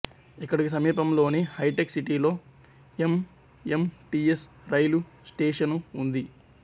ఇక్కడికి సమీపంలోని హైటెక్ సిటీలో ఎంఎంటిఎస్ రైలు స్టేషను ఉంది